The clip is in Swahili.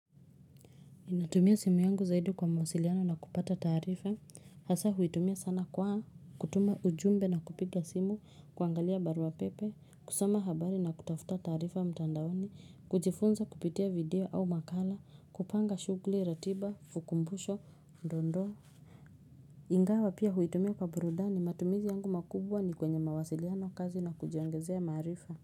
Natumia simu yangu zaidi kwa mawasiliano na kupata taarifa, hasa huitumia sana kwa, kutuma ujumbe na kupiga simu, kuangalia barua pepe, kusoma habari na kutafuta taarifa mtandaoni, kujifunza kupitia video au makala, kupanga shughuli, ratiba, ukumbusho, dondoo. Ingawa pia huitumia kwa burudani, matumizi yangu makubwa ni kwenye mawasiliano kazi na kujiongezea marifa.